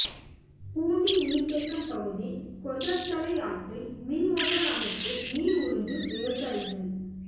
பூண்டி நீர்த்தேக்கம் பகுதி கொசஸ்தலை ஆற்றில் மின் மோட்டார் அமைத்து நீர் உறிஞ்சும் விவசாயிகள்